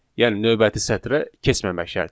Yəni növbəti sətrə keçməmək şərti ilə.